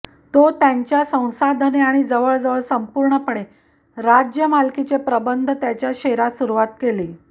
तो त्यांच्या संसाधने आणि जवळजवळ संपूर्णपणे राज्य मालकीचे प्रबंध त्याच्या शेरा सुरुवात केली